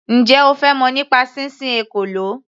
Njẹ́ O fẹ́ mọ̀ nípa sísin ekòló.